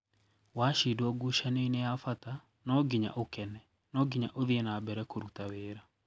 Washidwo ngucanio-inĩ ya bata, no nginya ũkene, no nginya ũthii nambere kũruta wĩra.